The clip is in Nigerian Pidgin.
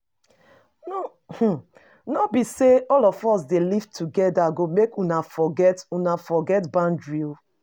um No be sey all of us dey live together go make una forget una forget boundary oo